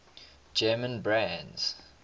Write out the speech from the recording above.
german brands